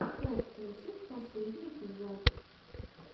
кэтпусик последний эпизод